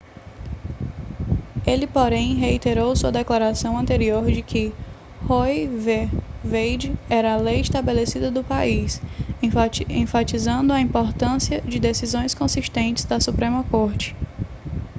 ele porém reiterou sua declaração anterior de que roe v wade era a lei estabelecida do país enfatizando a importância de decisões consistentes da suprema corte